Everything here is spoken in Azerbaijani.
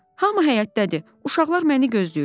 Hamı həyətdədir, uşaqlar məni gözləyirlər.